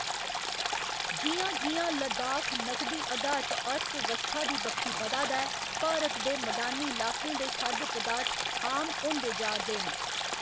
जि'यां जि'यां लद्दाख नकदी अधारत अर्थव्यवस्था दी बक्खी बधा दा ऐ, भारत दे मदानी इलाकें दे खाद्य पदार्थ आम होंदे जा'रदे न।